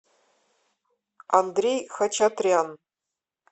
андрей хачатрян